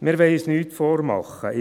Wir wollen uns nichts vormachen.